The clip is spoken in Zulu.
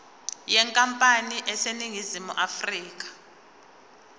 yenkampani eseningizimu afrika